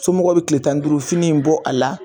Somɔgɔw be kile tan ni duurufini in bɔ a la